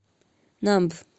намб